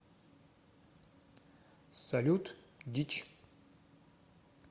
салют дичь